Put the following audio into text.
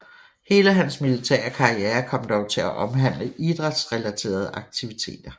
Hele hans militære karriere kom dog til at omhandle idrætsrelaterede aktiviteter